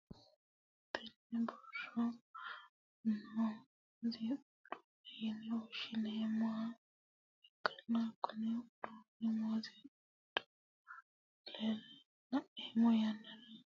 tenne basera noohu muuziiqu uduunne yine woshhsineemmoha ikkanna, kuni uduunnino muuziiqa godo'lineemmo yannara huuro batidhannokkinna ajjannokki gede assatenni kaa'lannonkeho. yineemo.